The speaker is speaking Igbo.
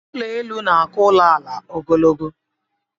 Ụlọelu na-aka ụlọala ogologo